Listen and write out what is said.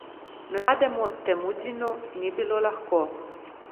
Mlademu Temudžinu ni bilo lahko.